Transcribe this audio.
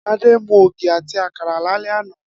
Adé mu ògì àti àkàrà lálé̩ àná